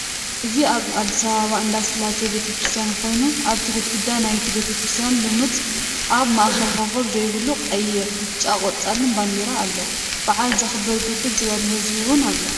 እዚ አብ አዲስ አበባ እንዳ ስላሴ ቤተ ክርስትያን ክይኑ አብቲ ግድግዳ ናይቲ ቤተ ክርስትያን ልሙፅ (አብ ማእከል ኮኮብ ዘይብሉ) ቀይሕ ፣ ብጫን ቆፃልን ባንዴራ አሎ በዓል ዘክብር ብርክት ዝበለ ህዝቢ እውን አሎ፡፡